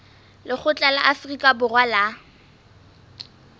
lekgotla la afrika borwa la